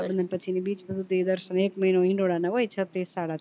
પછી ની બીજ સુધી દર્શન એક હિંડોળા ના હોય છ થી સાત